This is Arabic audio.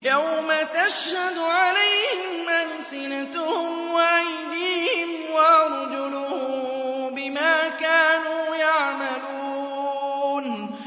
يَوْمَ تَشْهَدُ عَلَيْهِمْ أَلْسِنَتُهُمْ وَأَيْدِيهِمْ وَأَرْجُلُهُم بِمَا كَانُوا يَعْمَلُونَ